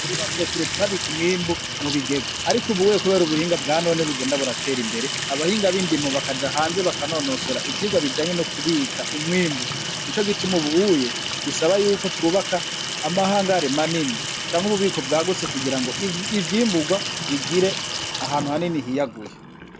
Kuri ba sokuru twabika umwimbu mu bigega, ariko ubuye kubera ubuhinga bwa none bugenda buratera imbere, abahinga b'indimo bakaja hanze baka nonosora ivyigwa bijanye no kubika umwimbu, nico gituma ubuye bisaba yuko twubaka amahangare manini canke ububiko bwagutse kugira ngo ivyimbugwa bigire ahantu hanini hiyaguye.